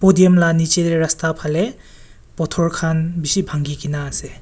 podium la nichete rasta phale pathor khan bishi bhangi kena ase.